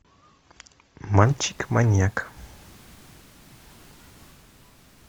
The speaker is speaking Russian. мальчик маньяк